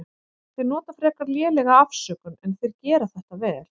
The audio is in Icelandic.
Þeir nota frekar lélega afsökun en þeir gera þetta vel.